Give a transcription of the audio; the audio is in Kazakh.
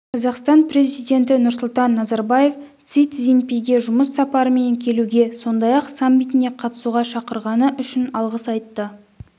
қазақстан президенті нұрсұлтан назарбаев си цзиньпинге жұмыс сапарымен келуге сондай-ақ саммитіне қатысуға шақырғаны үшін алғыс айтты